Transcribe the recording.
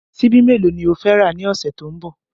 Ṣíbí mélòó ni o fẹ́ rà ní ọ̀sẹ̀ tó ń bọ̀?